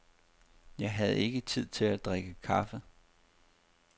Jeg havde ikke tid til at drikke kaffe.